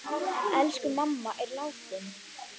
Elsku mamma er látin.